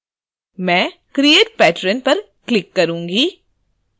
मैं create patron पर click करुँगी